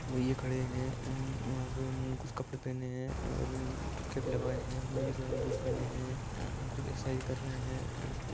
ये खड़े है एन वहां पे कुछ कपड़े पहने है और बी केप लगाये है मोज़े पहनी है जूत पहने एंड खुच एक्सरसाइज कर रहै है।